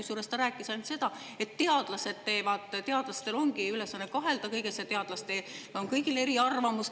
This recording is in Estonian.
Kusjuures ta rääkis ainult seda, et teadlastel ongi ülesanne kahelda kõiges, teadlastel on kõigil eriarvamus.